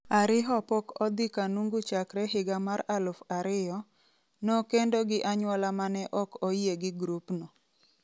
Ariho pok odhi Kanungu chakre higa mar aluf ariyo, nokendo gi anyuola mane ok oyie gi grup no.